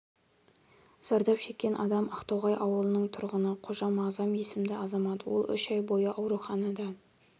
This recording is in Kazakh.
зардап шеккен адам ақтоғай ауылының тұрғыны қожа мағзам есімді азамат ол үш ай бойы ауруханада